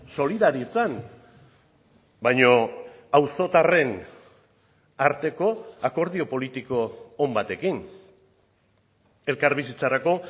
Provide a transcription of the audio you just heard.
solidaritzan baina auzotarren arteko akordio politiko on batekin elkarbizitzarako